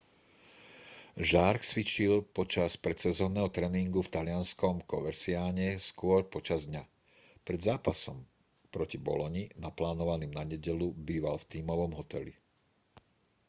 jarque cvičil počas predsezónneho tréningu v talianskom coverciane skôr počas dňa pred zápasom proti boloni naplánovaným na nedeľu býval v tímovom hoteli